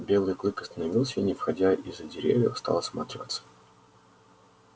белый клык остановился и не выходя из-за деревьев стал осматриваться